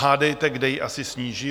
Hádejte, kde ji asi sníží?